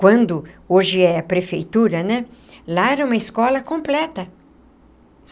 Quando hoje é prefeitura né, lá era uma escola completa.